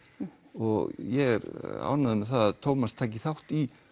og ég er ánægður með það að Tómas taki þátt í